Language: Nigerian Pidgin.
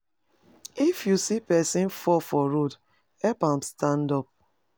If you see pesin fall for road, help am stand up.